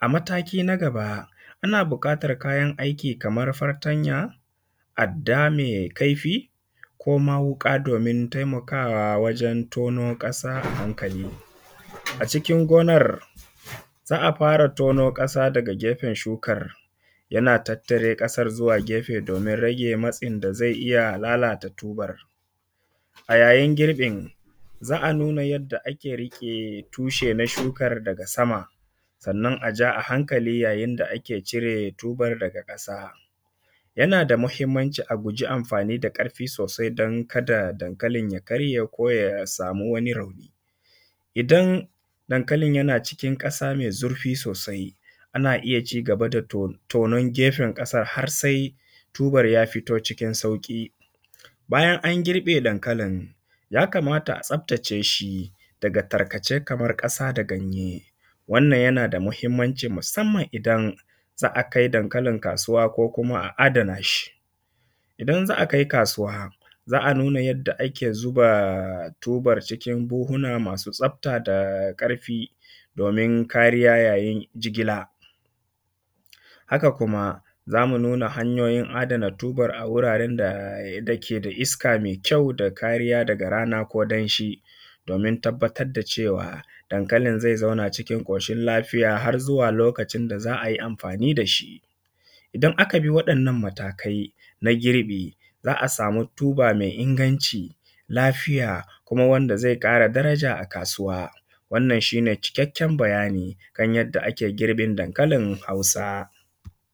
A mataki na gaba ana buƙatan kayan aiki kaman fartanya, adda mai kaifi, koma wuka, domin taimakawa wajen tono ƙasa a hankali a cikin gonar. Za a fara tono ƙasa daga gefen shukar, yana tattare ƙasar zuwa gefe domin rage matsin da zai iya lalata tubar. A yayin girbin za a nuna yadda ake riƙe tushe na shukar daga sama, sannan a ja a hankali yayin da ake cire tubar daga ƙasa. Yana da mahimmanci a guji amfani da karfi sosai don kada dankalin ya karye ko ya samu wani rauni. Idan dankalin yana cikin ƙasa mai zurfi sosai ana iya cigaba da tonon gefen ƙasar har sai tubar ya fito cikin sauƙi. Bayan an girbe dankalin ya kamata a tsaftace shi daga tarkace kaman ƙasa da ganye. Wannan yana da muhimmanci musamman idan za a kai dankalin kasuwa, ko kuma a adana shi. Idan za a kai kasuwa, za a nuna yarda ake zuba tubar cikin buhuna masu tsafta da ƙarfi domin kariya yayin jigila. Haka kuma za mu nuna hanyoyin adana tubar a wuraren da ke da iska mai kyau da kariya daga rana ko danshi domin tabbatar da cewa dankalin zai zauna cikin ƙoshin lafiya har zuwa lokacin da za ai amfani da shi. Idan aka bi waɗannan matakai na girbi za a samu tuba mai inganci, lafiya kuma wanda zai ƙara daraja a kasuwa. Wannan shi ne cikakken bayani kan yanda ake girbin dankalin hausa.